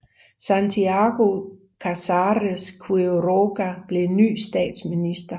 Santiago Casares Quiroga blev ny statsminister